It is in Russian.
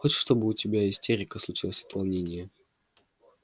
хочешь чтобы у тебя истерика случилась от волнения